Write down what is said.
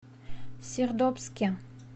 сердобске